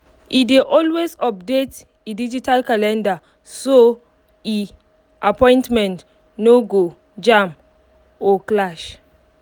e dey always update e digital calendar so e um appointments no go um jam or clash um